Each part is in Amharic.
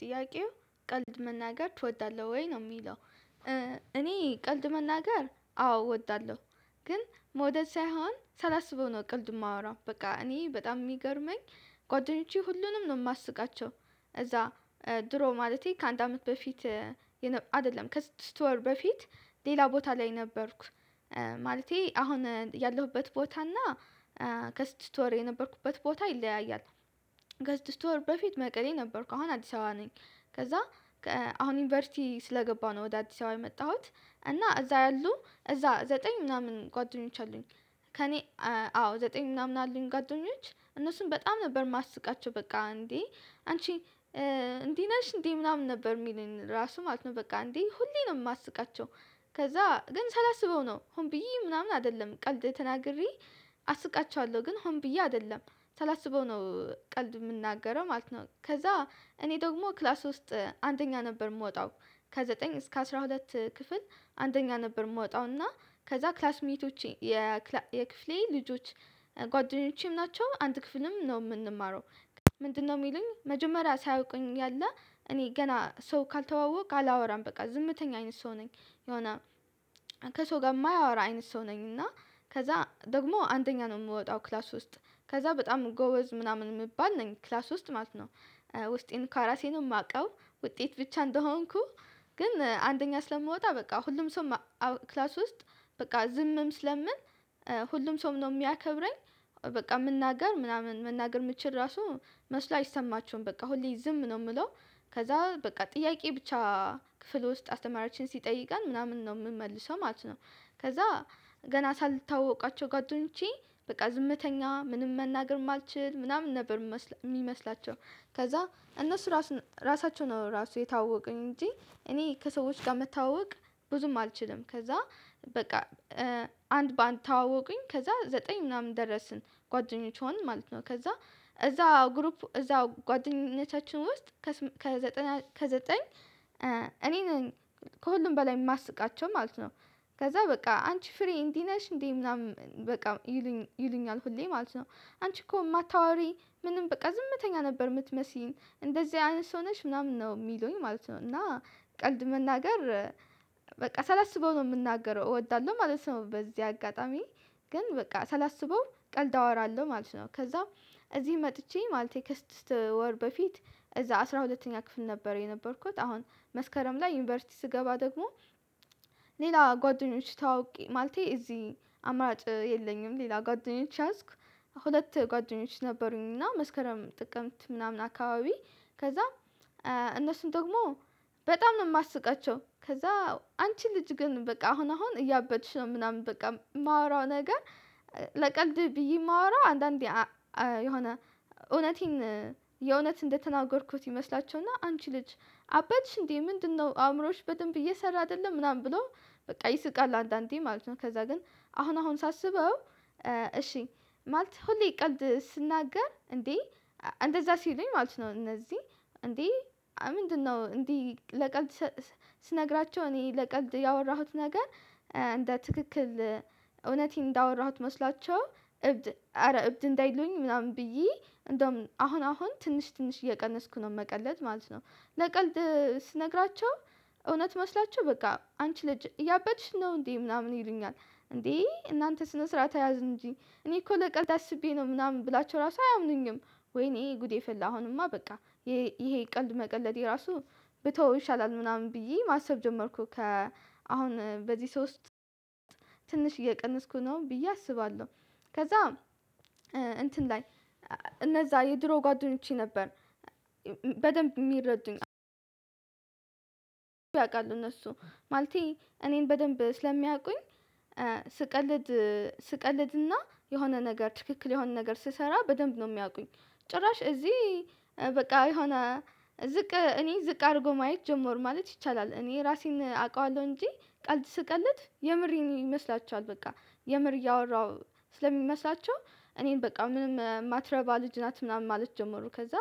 ጥያቄው ቀልድ መናገር ትወዳለህ ወይ ነው የሚለው? እኔ ቀልድ መናገር አዎ እወዳለሁ። ግን መውደድ ሳይሆን ሳላስበው ነው ቀልድ የማወራው በቃ እኔ በጣም የሚገርመኝ ጓደኞቼ ሁሉንም ነው የማስቃቸው። እዛ ድሮ ማለቴ ከአንድ አመት በፊት አይደለም ከስድስት ወር በፊት ሌላ ቦታ ላይ ነበርኩ። ማለቴ አሁን ያለሁበት ቦታ እና ከስድስት ወር የነበርኩበት ቦታ ይለያያል። ከስድስት ወር በፊት መቀሌ ነበርኩ አሁን አዲስ አበባ ነኝ። ከዛ አሁን ዩኒቨርሲቲ ስለገባሁ ነው ወደ አዲስ አበባ የመጣሁት። እና እዛ ያሉ እዛ ዘጠኝ ምናምን ጓደኞች አሉኝ። ከእኔ አዎ ዘጠኝ ምናምን አለኝ ጓደኞች እነሱን በጣም ነበር የማስቃቸው በቃ እንዴ አንቺ እንዴ ነሽ እንዴ ምናምን ነበር የሚለኝ ራሱ ማለት ነው በቃ እንዴ ሁሌ ነው የማስቃቸው። ከዛ ግን ሳላስበው ነው ሆን ብዬ ምናምን አይደለም ቀልድ ተናግሬ አስቃቸዋለሁ ግን ሆን ብዬ አይደለም ሳላስበው ነው ቀልድ የምናገረው ማለት ነው። ከዛ እኔ ደግሞ ክላስ ውስጥ አንደኛ ነበር የምወጣው። ከዘጠኝ እስከ አስራ ሁለት ክፍል አንደኛ ነበር የምወጣው እና ከዛ ክላስሜቶቼ የክፍሌ ልጆች ጓደኞቼም ናቸው አንድ ክፍልም ነው የምንማረው። ምንድነው የሚሉኝ መጀመሪያ ሳያውቁኝ ያለ እኔ ገና ሰው ካልተዋወቅኩ አላወራም በቃ ዝምተኛ አይነት ሰው ነኝ። የሆነ ከሰው ጋር የማያወራ አይነት ሰው ነኝ እና። ከዛ ደግሞ አንደኛ ነው የምወጣው ክላስ ውስጥ ከዛ በጣም ጎወዝ ምናምን የሚባል ነኝ ክላስ ውስጥ ማለት ነው። ውስጤን ከራሴ ነው የማውቀው ውጤት ብቻ እንደሆንኩ ግን አንደኛ ስለምወጣ በቃ ሁሉም ሰው ክላስ ውስጥ በቃ ዝምም ስለምል ሁሉም ሰውም ነው የሚያከብረኝ። በቃ መናገር ምናምን መናገር የምትችል ራሱ መስሎ አይሰማቸውም በቃ ሁሌ ዝም ነው የምለው። ከዛ በቃ ጥያቄ ብቻ ክፍል ውስጥ አስተማሪያችን ሲጠይቀን ምናምን ነው የምመልሰው ማለት ነው። ከዛ ገና ሳልተዋወቃቸው ጓደኞቼ በቃ ዝምተኛ ምንም መናገር የማልችል ምናምን ነበር የሚመስላቸው። ከዛ እነሱ ራሳቸው ነው ራሱ የተዋወቁኝ እንጂ እኔ ከሰዎች ጋር መታወቅ። ብዙም አልችልም ከዛ በቃ አንድ በአንድ ተዋወቁኝ ከዛ ዘጠኝ ምናምን ደረስን ጓደኞች ሆንን ማለት ነው። ከዛ እዛ ግሩፕ እዛ ጓደኝነታችን ውስጥ ከዘጠኝ እኔ ነኝ ከሁሉም በላይ የማስቃቸው ማለት ነው። ከዛ በቃ አንቺ ፍሬ እንዲህ ነሽ እንዴ ምናምን በቃ ይሉኛል ሁሌ ማለት ነው። አንቺ እኮ የማታዋሪ ምንም በቃ ዝምተኛ ነበር የምትመስይን እንደዚህ አይነት ሰው ነሽ ምናምን ነው የሚሉኝ ማለት ነው። እና ቀልድ መናገር በቃ ሳላስበው ነው የምናገረው እወዳለሁ ማለት ነው በዚህ አጋጣሚ ግን በቃ ሳላስበው ቀልድ አወራለሁ ማለት ነው። ከዛ እዚህ መጥቼ ማለቴ ከስድስት ወር በፊት እዛ አስራ ሁለተኛ ክፍል ነበረ የነበርኩት አሁን መስከረም ላይ ዩኒቨርሲቲ ስገባ ደግሞ ሌላ ጓደኞች ታዋውቄ ማለቴ እዚህ አማራጭ የለኝም ሌላ ጓደኞች ያዝኩ። ሁለት ጓደኞች ነበሩኝ እና መስከረም ጥቅምት ምናምን አካባቢ ከዛ እነሱን ደግሞ በጣም ነው የማስቃቸው። ከዛ አንቺ ልጅ ግን በቃ አሁን አሁን እያበድሽ ነው ምናምን በቃ የማወራው ነገር ለቀልድ ብዬ የማወራው አንዳንዴ የሆነ እውነቴን የእውነት እንደተናገርኩት ይመስላቸውና አንቺ ልጅ አበድሽ እንዴ ምንድነው አእምሮሽ በደንብ እየሰራ አይደለም ምናምን ብሎ በቃ ይስቃል አንዳንዴ ማለት ነው። ከዛ ግን አሁን አሁን ሳስበው እሺ ማለት ሁሌ ቀልድ ስናገር እንዴ እንደዛ ሲሉኝ ማለት ነው። እነዚህ እንዴ ምንድነው እንዴ ለቀልድ? ስነግራቸው እኔ ለቀልድ ያወራሁት ነገር እንደ ትክክል እውነቴን እንዳወራሁት መስላቸው እብድ እረ እብድ እንዳይሉኝ ምናምን ብዬ እንደውም አሁን አሁን ትንሽ ትንሽ እየቀነስኩ ነው መቀለድ ማለት ነው። ለቀልድ ስነግራቸው እውነት መስሏቸው በቃ አንቺ ልጅ እያበድሽ ነው እንዴ ምናምን ይሉኛል። እንዴ እናንተ ስነ ስርዓት ያዙ እንጂ እኔ እኮ ለቀልድ አስቤ ነው ምናምን ብላችሁ ራሱ አያምኑኝም። ወይኔ ጉዴ ፈላ አሁንማ በቃ ይሄ ቀልድ መቀለዴ ራሱ ብተወው ይሻላል ምናምን ብዬ ማሰብ ጀመርኩ ከ አሁን በዚህ ሶስት ትንሽ እየቀነስኩ ነው ብዬ አስባለሁ። ከዛ እንትን ላይ እነዛ የድሮ ጓደኞቼ ነበር በደንብ የሚረዱኝ አዎ። ያውቃሉ እነሱ ማልቴ እኔን በደንብ ስለሚያውቁኝ ስቀልድ ስቀልድና የሆነ ነገር ትክክል የሆነ ነገር ስሰራ በደንብ ነው የሚያውቁኝ። ጭራሽ እዚህ በቃ የሆነ ዝቅ እኔ ዝቅ አድርጎ ማየት ጀመሩ ማለት ይቻላል። እኔ ራሴን አውቃለሁ እንጂ ቀልድ ስቀልድ የምሬን ይመስላቸዋል በቃ የምር እያወራሁዋቸው ስለሚመስላቸው እኔን በቃ ምንም የማትረባ ልጅ ናት ምናምን ማለት ጀመሩ። ከዛ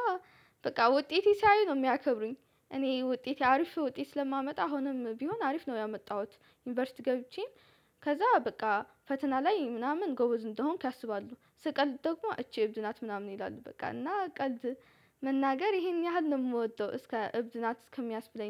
በቃ ውጤቴን ሲያዩ ነው የሚያከብሩኝ። እኔ ውጤቴ አሪፍ ውጤት ስለማመጣ አሁንም ቢሆን አሪፍ ነው ያመጣሁት። ዩኒቨርሲቲ ገብቼን ከዛ በቃ ፈተና ላይ ምናምን ጎበዝ እንደሆንኩ ያስባሉ ስቀልድ ደግሞ እቺ እብድ ናት ምናምን ይላሉ በቃ እና ቀልድ። መናገር ይሄን ያህል ነው የምወደው እስከ እብድ ናት እስከሚያስብለኝ